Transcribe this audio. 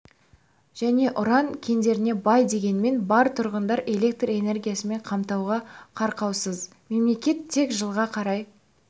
және уран кендеріне бай дегенмен бар тұрғынын электр энергиясымен қамтуға қауқарсыз мемлекет тек жылға қарай